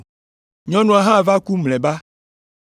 Nyɔnua hã va ku mlɔeba.